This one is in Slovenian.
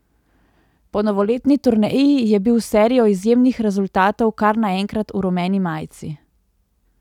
Po novoletni turneji je bil s serijo izjemnih rezultatov kar naenkrat v rumeni majici.